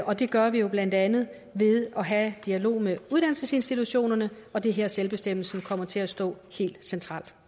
og det gør vi jo blandt andet ved at have dialog med uddannelsesinstitutionerne og det er her at selvbestemmelsen kommer til at stå helt centralt